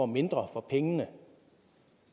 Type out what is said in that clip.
mindre for pengene